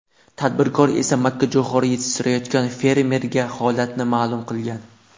Tadbirkor esa makkajo‘xori yetishtirayotgan fermerga holatni ma’lum qilgan.